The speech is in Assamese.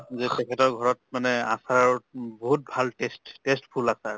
যে তেখেতৰ ঘৰত মানে আচাৰ ম বহুত ভাল taste, tasteful আচাৰ।